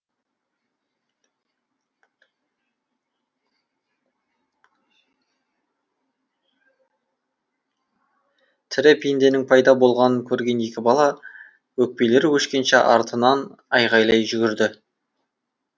тірі пенденің пайда болғанын көрген екі бала өкпелері өшкенше артынан айғайлай жүгірді